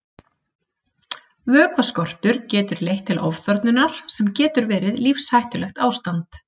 Vökvaskortur getur leitt til ofþornunar sem getur verið lífshættulegt ástand.